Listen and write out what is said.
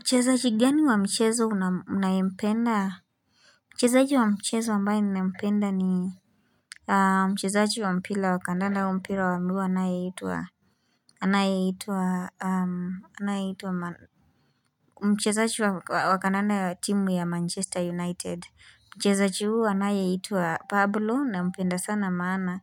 Mchezaji gani wa mchezo unayempenda? Mchezaji wa mchezo ambae ninayempenda ni mchezaji wa mpira wa kadanda au mpira wa mguu anayeitwa mchezaji wa wa kadanda ya timu ya Manchester United. Mchezaji huu anayeitwa Pablo nampenda sana maana.